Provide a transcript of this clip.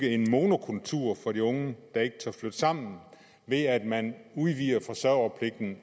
en monokultur for de unge der ikke tør flytte sammen ved at man udvider forsørgerpligten